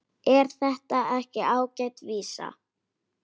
Er þetta ekki ágæt vísa?